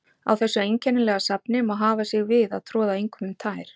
Á þessu einkennilega safni má hafa sig við að troða engum um tær.